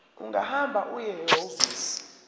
ungahamba uye ehhovisi